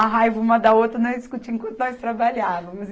A raiva uma da outra, nós discutíamos enquanto nós trabalhávamos.